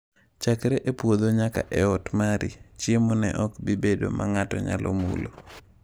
Chakre e puodho nyaka e ot mari, chiemo ne ok bi bedo ma ng’ato nyalo mulo.